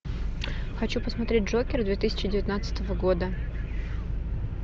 хочу посмотреть джокер две тысячи девятнадцатого года